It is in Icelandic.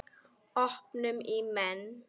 Öpum í menn.